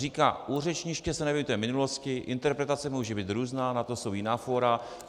Říká: U řečniště se nevěnujte minulosti, interpretace může být různá, na to jsou jiná fóra.